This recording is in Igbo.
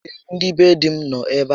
Ee, ndị be dí m nọ ebe a